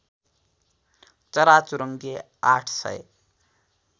चराचुरुङ्गी ८ सय